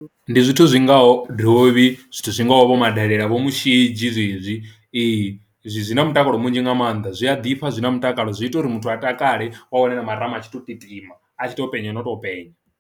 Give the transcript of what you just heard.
Ndi zwithu zwingaho dovhi zwithu zwi ngaho vho madelele vho mushidzhi zwezwi, ee zwi na mutakalo munzhi nga maanḓa zwi a ḓifha zwi na mutakalo zwi ita uri muthu a takale wa wana marama a tshi to titima a tshi to penya no tou penya.